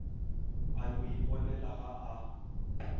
a yo iponela ga a